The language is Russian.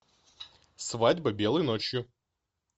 свадьба белой ночью